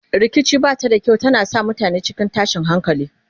rikici bashi da kyau tana sa mutane cikin tashin hankali